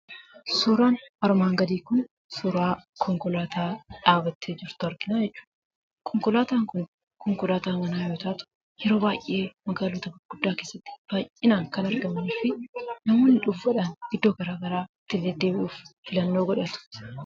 Suuraan armaan gadii kun, suuraa konkolaataa dhaabattee jirtu argina jechuudha. Konkolaataan Kun konkolaataa manaa yoo taatu yeroo baayyee magaalota gurguddaa keessatti baayyinaan kan argamanuu fi namoonni iddoo garaagaraa ittiin deddeebi'uuf filannoo godhatu.